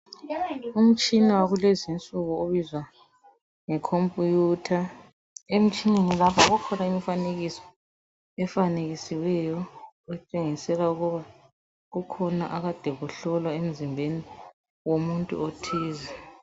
Umtshina wakulezi insuku obizwa ngokuthi yicomputer emtshineni lapha kukhona imifanekiso efanekisiweyo etshengisela ukuba kukhona ekade kuhlolwa emzimbeni womuntu othize